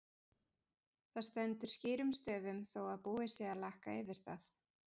Það stendur skýrum stöfum þó að búið sé að lakka yfir það!